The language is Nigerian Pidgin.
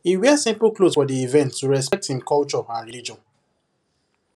he wear simple cloth for the event to respect him culture and religion